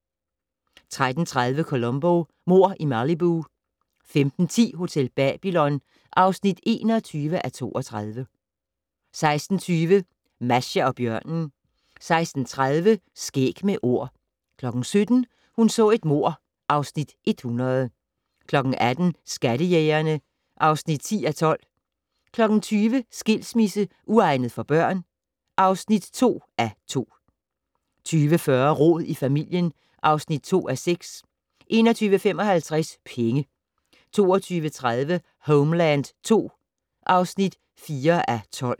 13:30: Columbo: Mord i Malibu 15:10: Hotel Babylon (21:32) 16:20: Masha og bjørnen 16:30: Skæg med Ord 17:00: Hun så et mord (Afs. 100) 18:00: Skattejægerne (10:12) 20:00: Skilsmisse - uegnet for børn? (2:2) 20:40: Rod i familien (2:6) 21:55: Penge 22:30: Homeland II (4:12)